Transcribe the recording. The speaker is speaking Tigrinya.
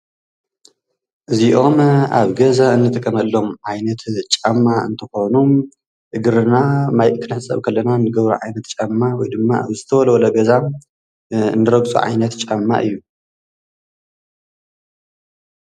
እዚኦም ኣብ ገዛ እንጥቀመሎም ዓይነት ጫማ እንትኾኑ እግርና ማይ ክንሕፀብ ከለና እንገብሮ ዓይነት ጫማ ወይ ድማ ዝተወልወለ ገዛ እንረግፆ ዓይነት ጫማ እዩ።